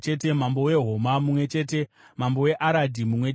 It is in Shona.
mambo weHoma mumwe chete mambo weAradhi mumwe chete